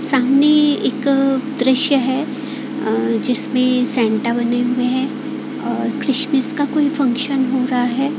सामने एक दृश्य है अह जिसमें सैंटा बने हुए हैं और क्रिसमस का कोई फंक्शन हो रहा है।